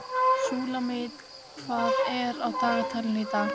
Súlamít, hvað er á dagatalinu í dag?